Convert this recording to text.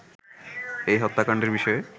এই হত্যাকাণ্ডের বিষয়ে